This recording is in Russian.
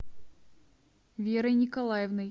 верой николаевной